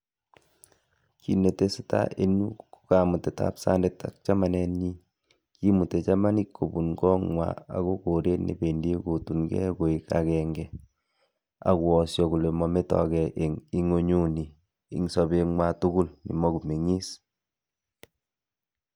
Kiit ne tesetai eng yu ko kamutetab sandet ak chamanetnyi. Kimutei chamanik kobun kong'wa agoi koret ne bendi ipkotungei koek akenge ak koyosyo kole mometoige eng ing'unyuni eng sobenywa tugul ne makomeng'is.